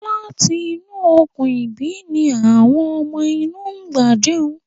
Láti inú Okùn-ìbí ni àwọn ọmọ inú ń gbà jẹun.